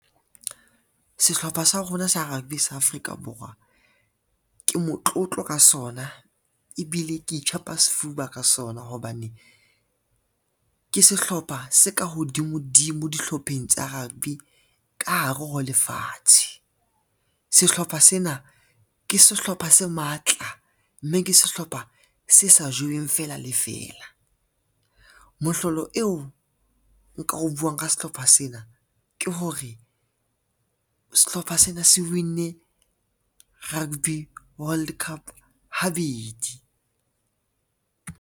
Sehlopha sa rona sa rugby sa Afrika Borwa ke motlotlo ka sona, ebile ke itjhapa sefuba ka sona hobane, ke sehlopha se ka hodimo dimo dihlopheng tsa rugby ka hare ho lefatshe. Sehlopha sena ke sehlopha se matla, mme ke sehlopha se sa jeweng fela le fela. Mohlolo eo nka o buang nka sehlopha sena ke hore sehlopha sena se win-nne rugby World Cup habedi.